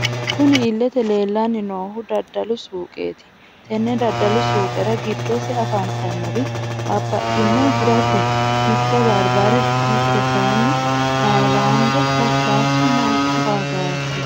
Kunni illete leelani noohu daddalu suuqeti tenne daddalu suuqerra giddose afantannori babaxitino hirrati mitte baribare mitte kayiini hayiladete lasilasi Manchu angasi.....